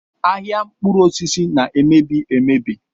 Ahịa mkpụrụosisi na-emebi emebi